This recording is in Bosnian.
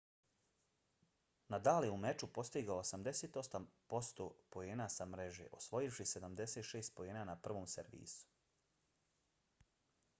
nadal je u meču postigao 88% poena sa mreže osvojivši 76 poena na prvom servisu